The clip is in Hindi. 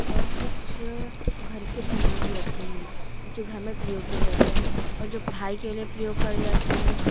और कुछ घर के समान भी रखे हैं जो घर में प्रयोग किया जाते हैं और जो पढ़ाई के लिए प्रयोग कर जाते हैं।